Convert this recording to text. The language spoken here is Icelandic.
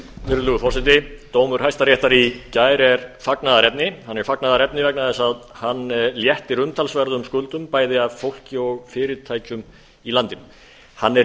virðulegi forseti dómur hæstaréttar í gær er fagnaðarefni hann er fagnaðarefni vegna þess að hann léttir umtalsverðum skuldum bæði af fólki og fyrirtækjum í landinu hann er